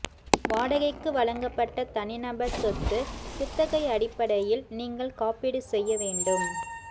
வாடகைக்கு வழங்கப்பட்ட தனிநபர் சொத்து குத்தகை அடிப்படையில் நீங்கள் காப்பீடு செய்ய வேண்டும்